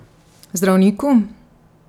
Zdravniku?